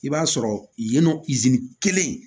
I b'a sɔrɔ yen nɔ izini kelen